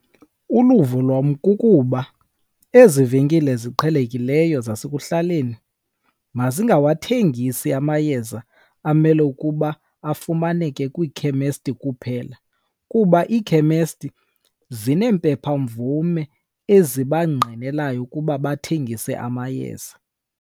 Uluvo lwam kukuba ezi venkile ziqhelekileyo zasekuhlaleni mazingawathengisi amayeza amele ukuba afumaneke kwikhemesti kuphela, kuba iikhemesti zineempepha mvume ezibangqinelayo ukuba bathengise amayeza.